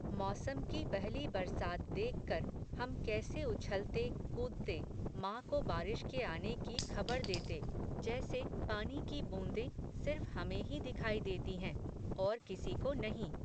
मौसम की पहली बरसात देखकर, हम कैसे उछलते, कूदते, मां को बारिश के आने की खबर देते, जैसे, पानी की बूंदें, सिर्फ़ हमें ही दिखाई देती हैं, और किसी को नहीं